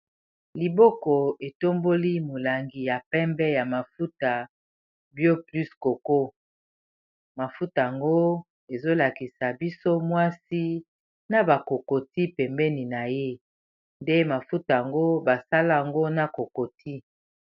Liboko etomboli molangi ya pembe ya mafuta byo plus koko mafuta yango ezolakisa biso mwasi na bakokoti pembeni na ye nde mafuta yango basalango na kokoti.